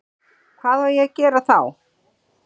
Hvað á ég að gera þá?